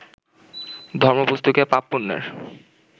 ধর্মপুস্তকে পাপ-পুণ্যের